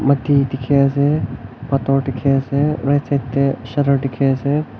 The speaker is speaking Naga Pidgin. dikhi ase pathor dikhi ase right side de shutter dikhi ase.